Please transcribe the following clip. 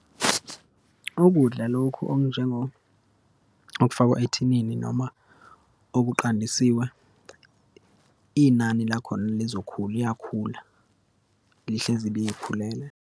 Ukudla lokhu okufakwa ethinini noma okuqandisiwe, inani lakhona lizokhula, liyakhula, lihlezi liyikhulela.